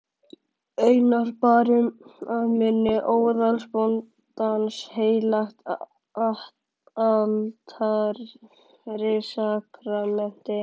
Einar bar að munni óðalsbóndans heilagt altarissakramenti.